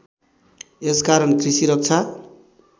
यस कारण कृषि रक्षा